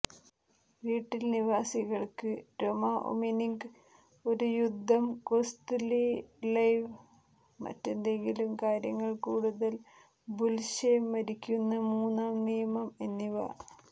വീട്ടിൽ നിവാസികൾക്ക് രൊഒമിന്ഗ് ഒരു യുദ്ധം കൊസ്ത്യ്ലെവ് മറ്റെന്തെല്ലാം കാര്യങ്ങൾ കൂടുതൽ ബുല്ശെ മരിക്കുന്ന മൂന്നാം നിയമം എന്നിവ